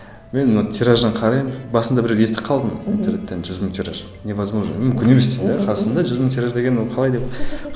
мен тиражын қараймын басында бір естіп қалдым интернеттен жүз мың тираж невозможно мүмкін емес қазақстанда жүз мың тираж деген ол қалай деп